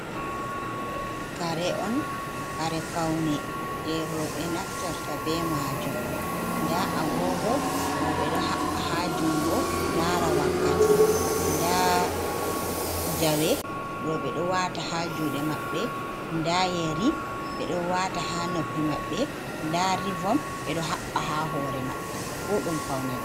Kare on kare faune je roɓɓe naftirta be majum, nda agogo roɓɓe ɗo haɓɓa ha jungo lara wakkati, nda jawe roɓɓe ɗo wata ha juɗe maɓɓe, nda yeri ɓe ɗo wata ha noppi maɓɓe, nda rivom ɓe ɗo haɓbay ha hore maɓɓe fu ɗum faune roɓɓe.